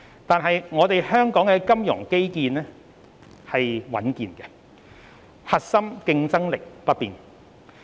然而，香港的金融基礎穩健，核心競爭力不變。